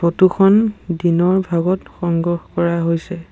Photo খন দিনৰ ভাগত সংগ্ৰহ কৰা হৈছে।